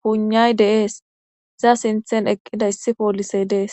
puynay de'ees iza siinththen eqqida issi poolisey dees